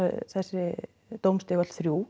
þessi dómstig öll þrjú